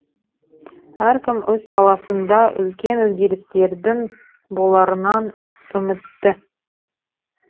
әркім өз саласында үлкен өзгерістердің боларынан үмітті